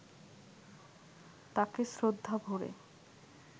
তাঁকে শ্রদ্ধাভরে